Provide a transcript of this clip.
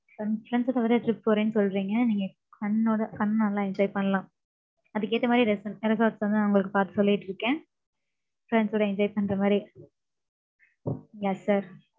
Friends friends ங்களோட trip போறேன்னு, சொல்றீங்க. நீங்க, fun ஓட, fun நல்லா enjoy பண்ணலாம். அதுக்கேத்த மாரி, resort resorts வந்து, நான், உங்களுக்கு, பாத்து, சொல்லிட்டிருக்கேன். Friends ஓட, enjoy பண்ற மாரி. Yes sir